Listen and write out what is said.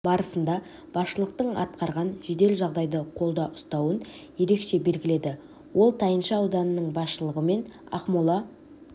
барысында басшылықтын атқарған жедел жағдайды қолда ұстауын ерекеше белгіледі ол тайынша ауданының басшылығы мен ақмола